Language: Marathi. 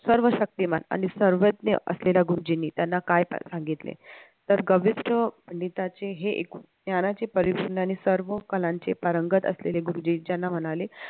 सर्व शक्तिमान आणि सर्वज्ञ असलेल्या गुरुजींनी त्यांना काय सांगितले तर कनिष्ट गीताचे हे एक ज्ञानाचे परिश्रम आणि सर्व कलांचे पारंगत असलेले गुरुजी याना म्हणाले